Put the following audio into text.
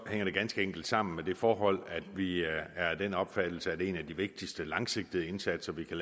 hænger det ganske enkelt sammen med det forhold at vi er af den opfattelse at en af de vigtigste langsigtede indsatser vi kan